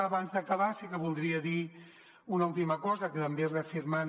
abans d’acabar sí que voldria dir una última cosa també reafirmant